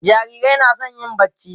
jarirai na San yin barci